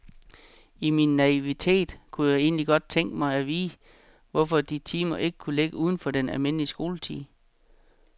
I min naivitet kunne jeg egentlig godt tænke mig at vide, hvorfor de timer ikke kunne ligge uden for den almindelige skoletid.